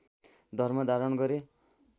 धर्म धारण गरे